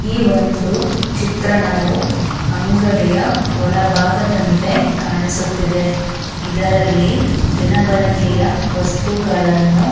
ಈ ಒಂದು ಚಿತ್ರಣವು ಅಂಗಡಿಯ ಒಳ ಭಾಗದಂತೆ ಕಾಣಿಸುತ್ತಿದೆ ಇದರಲ್ಲಿ ದಿನ ಬಳಕೆಯ ವಸ್ತುಗಳನ್ನು --